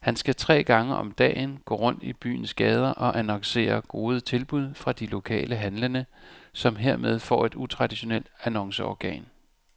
Han skal tre gange om dagen gå rundt i byens gader og annoncere gode tilbud fra de lokale handlende, som hermed får et utraditionelt annonceorgan.